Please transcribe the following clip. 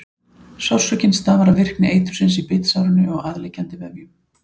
Sársaukinn stafar af virkni eitursins í bitsárinu og aðliggjandi vefjum.